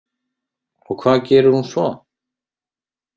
Og hvað gerir hún svo?